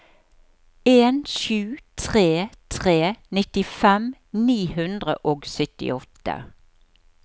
en sju tre tre nittifem ni hundre og syttiåtte